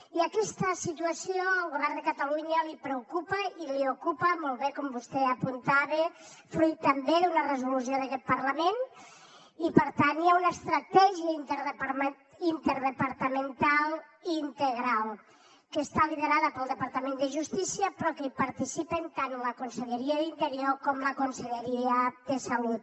i aquesta situació al govern de catalunya li preocupa i l’ocupa molt bé com vostè apuntava fruit també d’una resolució d’aquest parlament i per tant hi ha una estratègia interdepartamental i integral que està liderada pel departament de justícia però en què hi participen tant la conselleria d’interior com la conselleria de salut